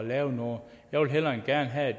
lave noget og jeg vil hellere end gerne have